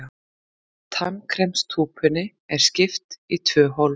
Tannkremstúpunni er skipt í tvö hólf.